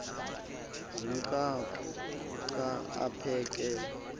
zomqhaphu xa aphekela